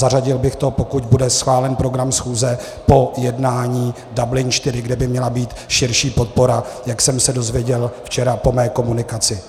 Zařadil bych to, pokud bude schválen program schůze, po jednání Dublin IV, kde by měla být širší podpora, jak jsem se dozvěděl včera po mé komunikaci.